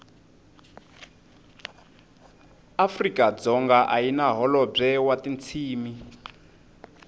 afrikadzonga ayina hholobwe watintshimi